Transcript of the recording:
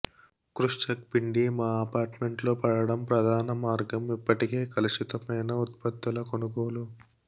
క్రుష్చక్ పిండి మా అపార్ట్మెంట్లో పడటం ప్రధాన మార్గం ఇప్పటికే కలుషితమైన ఉత్పత్తుల కొనుగోలు